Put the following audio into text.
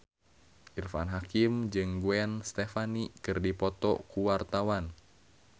Irfan Hakim jeung Gwen Stefani keur dipoto ku wartawan